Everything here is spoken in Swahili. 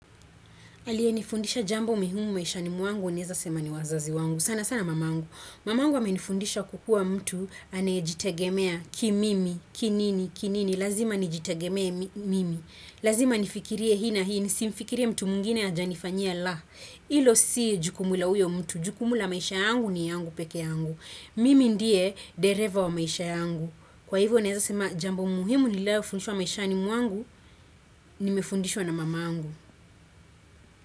Aliye nifundisha jambo muhimu maishani mwangu naeza sema ni wazazi wangu. Sana sana mamangu. Mamangu amenifundisha kukuwa mtu aneyejitegemea ki mimi, ki nini, ki nini. Lazima nijitegemee mimi. Lazima nifikirie hii na hii, nisimfikirie mtu mwingine ajanifanyia la. Ilo si jukumu la uyo mtu, jukumu la maisha yangu ni yangu peke yangu. Mimi ndiye dereva wa maisha yangu. Kwa hivyo naeza sema jambo muhimu niliayofundishwa maishani mwangu, nimefundishwa na mamangu.